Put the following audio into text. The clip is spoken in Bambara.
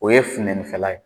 O ye funɛninfɛla ye